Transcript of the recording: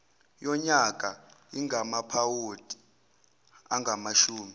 yonyaka ingamaphawondi angamashumi